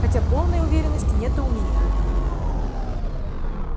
хотя полной уверенности нет и у меня